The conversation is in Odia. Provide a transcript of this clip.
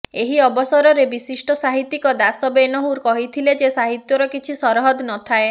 ଏହି ଅବସରରେ ବିଶିଷ୍ଟ ସାହିତ୍ୟିକ ଦାଶ ବେନେହୁର କହିଥିଲେ ଯେ ସାହିତ୍ୟର କିଛି ସରହଦ ନଥାଏ